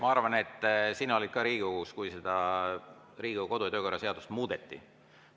Ma arvan, et sina olid ka Riigikogus, kui Riigikogu kodu‑ ja töökorra seadust muudeti.